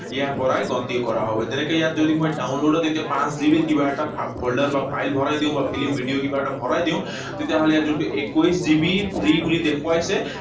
ইয়াৰ পৰাই গন্তিও কৰা হব। যেনেকৈ ইয়াত যদি মই download ত এতিয়া পাঁচ GB ৰ কিবা এটা folder বা ফাইল ভৰাই দিও, বা film, ভিডিঅ কিবা এটা ভৰাই দিও, তেতিয়াহলে যোনটো একৈশ GB free বুলি দেখুৱাইছে,